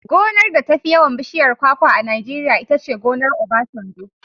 Gonar da tafi yawan bishiyar kwakwa a Najeriya itace gonar Obasanjo.